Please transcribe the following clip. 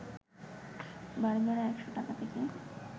বাড়িভাড়া ১০০ টাকা থেকে